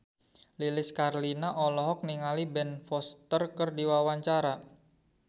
Lilis Karlina olohok ningali Ben Foster keur diwawancara